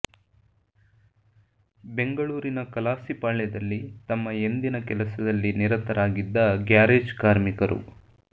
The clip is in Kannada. ಬೆಂಗಳೂರಿನ ಕಲಾಸಿಪಾಳ್ಯದಲ್ಲಿ ತಮ್ಮ ಎಂದಿನ ಕೆಲಸದಲ್ಲಿ ನಿರತರಾಗಿದ್ದ ಗ್ಯಾರೇಜ್ ಕಾರ್ಮಿಕರು